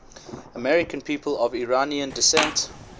american people of iranian descent